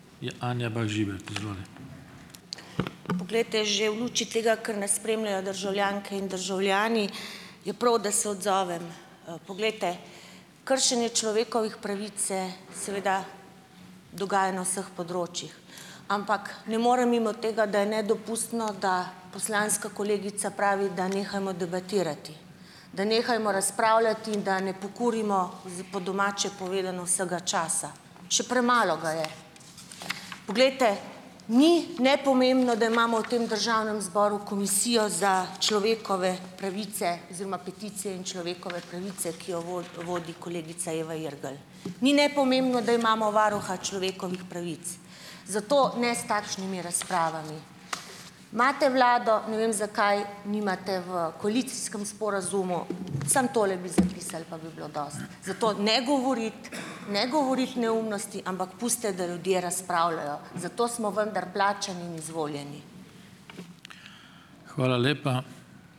Pa poglejte, že v luči tega, ker nas spremljajo državljanke in državljani, je prav, da se odzovem, poglejte. Kršenje človekovih pravic se seveda dogaja na vseh področjih, ampak ne morem mimo tega, da je nedopustno, da poslanska kolegica pravi, da nehajmo debatirati, da nehajmo razpravljati in da ne pokurimo, z po domače povedano, vsega časa. Še premalo ga je. Poglejte. Ni nepomembno, da imamo v tem državnem zboru komisijo za človekove pravice oziroma peticije in človekove pravice, ki jo vodi kolegica Eva Irgl. Ni nepomembno, da imamo varuha človekovih pravic, zato ne s takšnimi razpravami. Imate vlado, ne vem, zakaj nimate v koalicijskem sporazumu, samo tole bi zapisali pa bi bilo dosti. Zato ne govoriti, ne govoriti neumnosti, ampak pustite, da ljudje razpravljajo. Za to smo vendar plačani in izvoljeni.